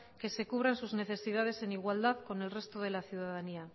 que se cubran sus necesidades en igualdad con el resto de la ciudadanía